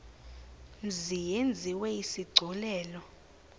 mzi yenziwe isigculelo